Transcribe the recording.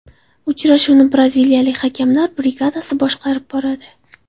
Uchrashuvni braziliyalik hakamlar brigadasi boshqarib boradi.